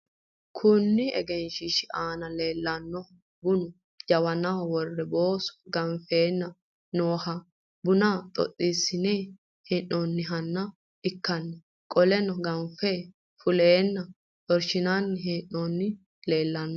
Kunni egenshiishu aanna la'neemohu bunna jawannaho wore booso ganfeenna noohanna bunna xoxiisinnanni hee'noonniha ikanna qoleno gafame fuleenna xorshinnanni hee'noonnihu leelanni.